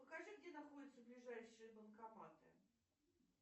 покажи где находятся ближайшие банкоматы